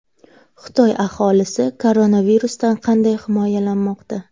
Xitoy aholisi koronavirusdan qanday himoyalanmoqda?